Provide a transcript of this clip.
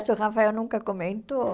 Nossa, o Rafael nunca comentou.